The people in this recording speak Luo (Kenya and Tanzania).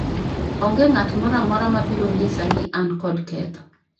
onge ng'at moro amora mabiro nyisa ni an kod ketho